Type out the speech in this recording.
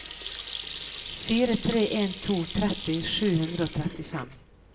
fire tre en to tretti sju hundre og trettifem